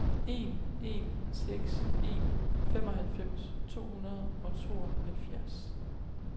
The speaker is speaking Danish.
en en seks en femoghalvfems to hundrede og tooghalvfjerds